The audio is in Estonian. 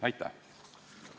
Aitäh!